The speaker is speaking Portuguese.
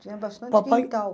Tinha bastante Papai Quintal.